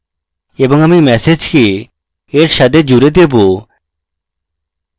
এবং আমি message কে এর সাথে জুড়ে দেবো